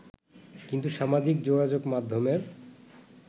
কিন্তু সামাজিক যোগাযোগ মাধ্যমের